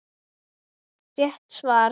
Rétt svar!